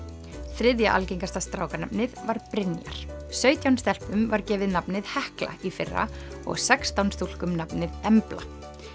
þriðja algengasta strákanafnið var Brynjar sautján stelpum var gefið nafnið Hekla í fyrra og sextán túlkum nafnið Embla